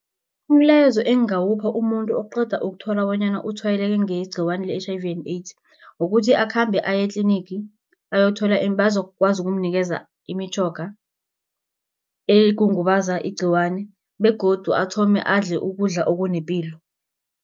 Umlayezo engawupha umuntu okuqeda ukuthola bonyana utshwayeleke ngegciwane le-H_I_V and AIDS, kukuthi akhambe aye etlinigi bazokwazi ukumnikeza imitjhoga, egongobaza igciwani begodu athome adle ukudla okunepilo.